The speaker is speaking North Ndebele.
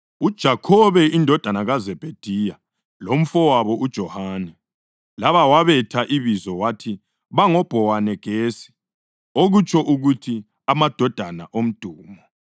uJakhobe indodana kaZebhediya lomfowabo uJohane (laba wabetha ibizo wathi bango Bhowanegesi, okutsho ukuthi Amadodana Omdumo),